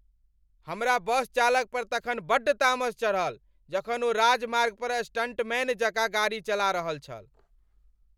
हमरा बस चालक पर तखन बड्ड तामस चढ़ल जखन ओ राजमार्ग पर स्टंटमैन जकाँ गाड़ी चला रहल छल।